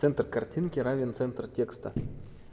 центр картинки равен центр текста